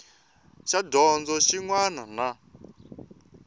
xa dyondzo xin wana na